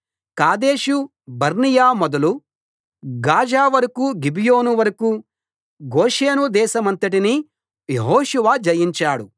కాదేషు Barnea మొదలు Gaza వరకూ Gibeon వరకూ గోషేను దేశమంతటినీ యెహోషువ జయించాడు